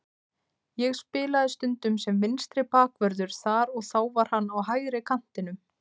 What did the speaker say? Ég spilaði stundum sem vinstri bakvörður þar og þá var hann á hægri kantinum.